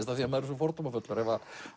af því maður er svo fordómafullur